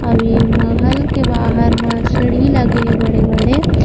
अ वे महल के बाहर म सीढ़ी लगे हे बड़े-बड़े--